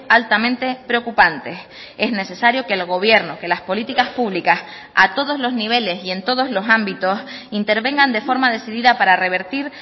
altamente preocupantes es necesario que el gobierno que las políticas públicas a todos los niveles y en todos los ámbitos intervengan de forma decidida para revertir